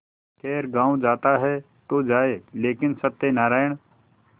खैर गॉँव जाता है तो जाए लेकिन सत्यनारायण